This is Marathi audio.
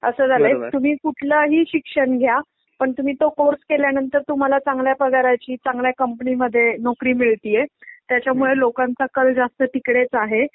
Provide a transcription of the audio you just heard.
असं झालाय तुम्ही कुठलाही शिक्षण घ्या पण तुम्ही तो कोर्स केल्या नंतर तुम्हाला चांगला पगाराची चांगल्या कंपनीमध्ये नोकरी मिळतिये. त्याच्यामुळे लोकांचा कल जास्त तिकडेच आहे.